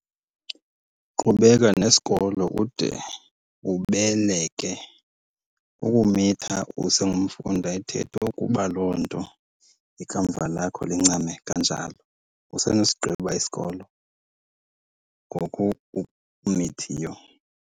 Qhubeka nesikolo ude ubeleke. Ukumitha usengumfundi ayithethwa ukuba loo nto ikamva lakho lincame kanjalo. Usenosigqiba isikolo ngoku umithiyo.